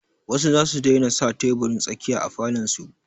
Wasu za su daina sa teburin tsakiya a falon su.